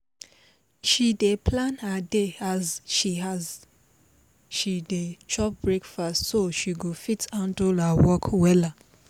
she dey plan her day as she as she dey chop breakfast so she go fit handle her work wella.